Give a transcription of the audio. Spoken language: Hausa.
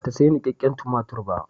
Bata sayi nikakken tumatir ba.